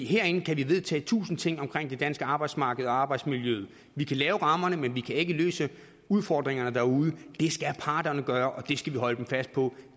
herinde kan vi vedtage tusind ting omkring det danske arbejdsmarked og arbejdsmiljøet vi kan lave rammerne men vi kan ikke løse udfordringerne derude det skal parterne gøre og det skal vi holde dem fast på